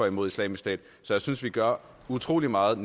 imod islamisk stat så jeg synes vi gør utrolig meget